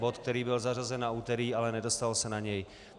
Bod, který byl zařazen na úterý, ale nedostalo se na něj.